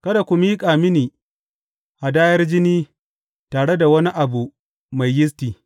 Kada ku miƙa mini hadayar jini tare da wani abu mai yisti.